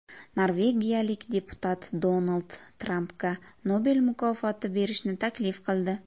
Norvegiyalik deputat Donald Trampga Nobel mukofoti berishni taklif qildi.